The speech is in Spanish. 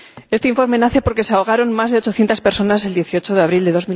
Este informe nace porque se ahogaron más de 800 personas el 18 de abril de